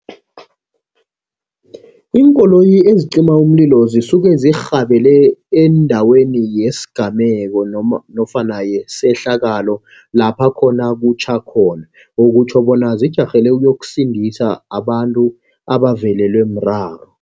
Iinkoloyi eziqima umlilo zisuke zirhabele endaweni yesigameko nofana yesehlakalo lapha khona kutjha khona. Okutjho bona zijarhele ukuyokusindisa abantu abavelelwe mraro.